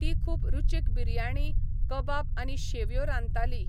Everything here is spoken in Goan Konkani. ती खूब रुचीक बिरयाणी, कबाब आनी शेवयो रांदताली.